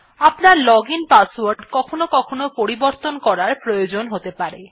আপনার login password কখনও কখনও পরিবর্তন করার প্রয়োজন হতে পারে